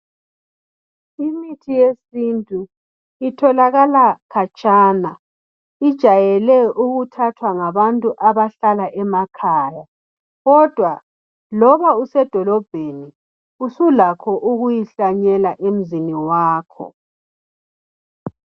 Imithi yesintu itholakala khatshana, ijayele ukuthathwa ngabantu abahlala emakhaya, kodwa loba usedolobheni usulakho ukuyihlanyela emzini wakho.